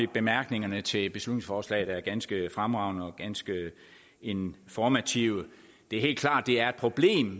bemærkningerne til beslutningsforslaget er ganske fremragende og ganske informative det er helt klart at det er et problem